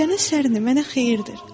Gecənin sərini mənə xeyirdir.